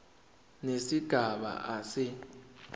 nesigaba a se